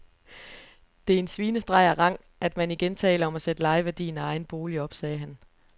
Det er en svinestreg af rang, at man igen taler om at sætte lejeværdien af egen bolig op, sagde han.